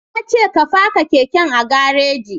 Na ce ka faka keken a gareji